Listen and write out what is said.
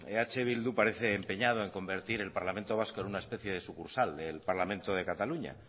eh bildu parece empeñado en convertir el parlamento vasco en una especie de sucursal del parlamento de cataluña